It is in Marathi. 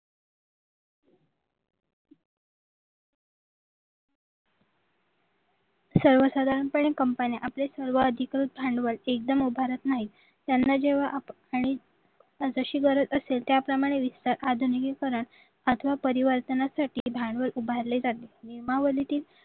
सर्वसाधारणपणे कंपन्या आपले सर्वाधिक भांडवल एकदम उभारत नाही त्याना जेव्हा आणि जशी गरज असेल त्याप्रमाणे विस्तार आधुनिकीकरण अथवा परिवर्तनासाठी भांडवल उभारले जाते नियमावलीतील